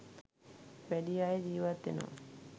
වැඩි අය ජීවත් වෙනවා.